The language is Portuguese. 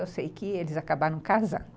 Eu sei que eles acabaram casando.